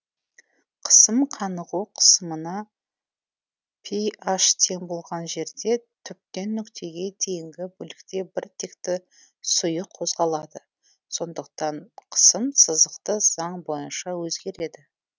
қысым қанығу қысымына рн тең болған жерде түптен нүктеге дейінгі бөлікте біртекті сұйық қозғалады сондықтан қысым сызықты заң бойынша өзгереді